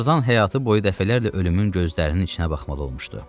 Tarzan həyatı boyu dəfələrlə ölümün gözlərinin içinə baxmalı olmuşdu.